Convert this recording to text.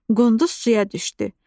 Qunduz suya düşdü.